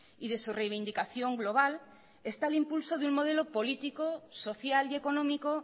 y de su reivindicación global está el impulso de un modelo político social y económico